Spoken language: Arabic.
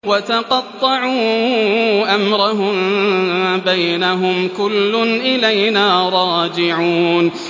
وَتَقَطَّعُوا أَمْرَهُم بَيْنَهُمْ ۖ كُلٌّ إِلَيْنَا رَاجِعُونَ